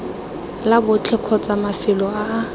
la botlhe kgotsa mafelo a